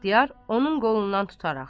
İxtiyar onun qolundan tutaraq.